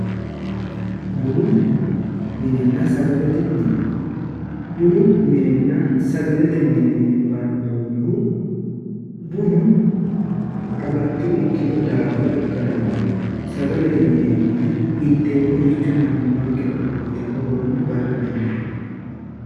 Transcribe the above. bunu minenna sagalete mine bunu minenna sagalete mine yine bandoommohu bunu agatto ikkino daafira ikkara dandaanno sagale yineemmoti inteemmote mannimmankera uyitanno horonni bada dandiinanni